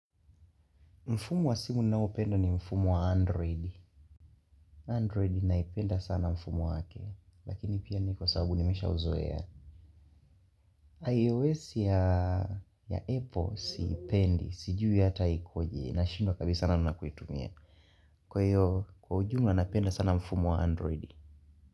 Mfumo wa simu naopenda ni mfumo wa android. Android naipenda sana mfumo wake. Lakini pia ni kwa sababu nimeshauzoea. iOS ya Apple siipendi. Sijui hata ikoje. Nashindwa kabisa sana na kuitumia. Kwa hiyo, kwa ujumla napenda sana mfumo wa android.